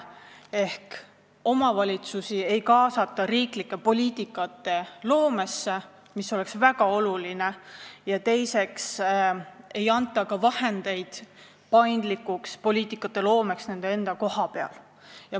Ehk omavalitsusi ei kaasata riiklike poliitikate loomesse, mis oleks väga oluline, ja teiseks ei anta neile ka vahendeid paindlikuks poliitikaloomeks kohapeal.